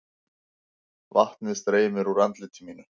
Vatnið streymir úr andliti mínu.